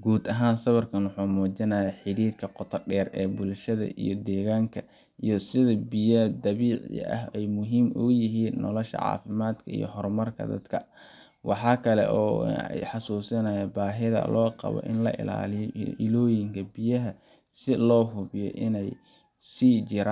guud ahan sawirkan wuxuu muujinaya xirirka qoto dheer ee bulshada iyo deegaanka iyo sidi biya dabiici ah ay muhiim uyihiin nolosha caafimadka iyo horumarka dadka, waxakale oy ii xasuusinaya inay baahida loo qabo la illaliyo iyo illoyinka biyaha si loo hubiyo inay sii jiran